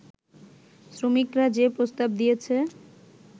শ্রমিকরা যে প্রস্তাব দিয়েছে